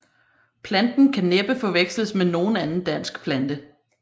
Planten kan næppe forveksles med nogen anden dansk plante